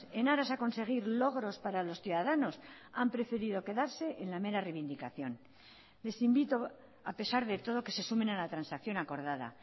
en aras a conseguir logros para los ciudadanos han preferido quedarse en la mera reivindicación les invito a pesar de todo que se sumen a la transacción acordada